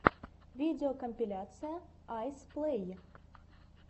видеокомпиляция айс плэй